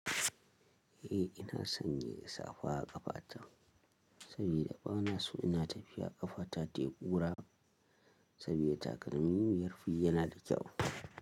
Eh ina sanya safa a ƙafa ta saboda bana so ina tafiya ƙafa ta tayi kura saboda takalmin yafi yana da kyau.